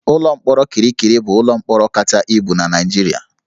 Ụlọ mkpọrọ Kirikiri bụ ụlọ mkpọrọ kacha ibu na Naịjirịa